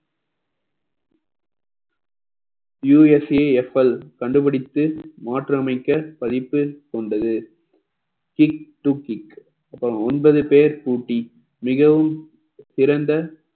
USAFL கண்டுபிடித்து மாற்றி அமைக்க பதிப்பு கொண்டது அப்புறம் ஒன்பது பேர் கூட்டி மிகவும் சிறந்த